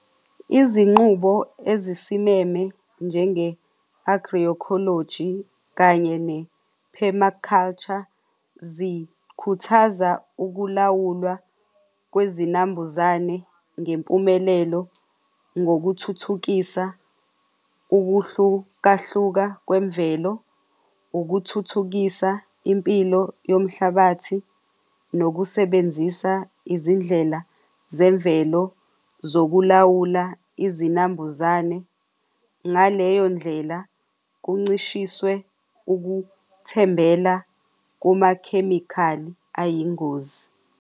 Izinqubo ezisimeme njenge-agroecology kanye ne-permaculture zikhuthaza ukulawulwa kwezinambuzane ngempumelelo ngokuthuthukisa ukuhlukahluka kwemvelo, ukuthuthukisa impilo yomhlabathi nokusebenzisa izindlela zemvelo zokulawula izinambuzane. Ngaleyo ndlela, kuncishiswe ukuthembela kumakhemikhali ayingozi.